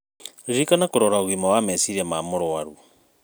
Ririkana kũrora ũgima wa meciria ma mũrũaru